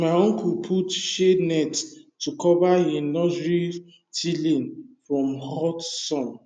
my uncle put shade net to cover him nursery seedling from hot sun